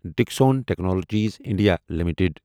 Dixon technologies India limited